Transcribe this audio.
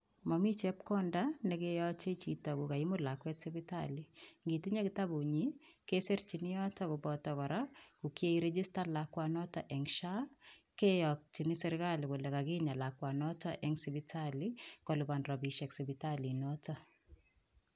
Momi chepkonda nekemoche chito ko kaimut lakwet sipitali, ing'itinye kitabunyin kesirchin yoton koboto kora kerigistan lakwanoton en SHA keyokyin serikali kelee makinya lakwanoton en sipitali kolipan sipitali notok.